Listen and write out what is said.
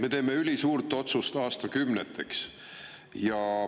Me teeme ülisuurt otsust aastakümneteks.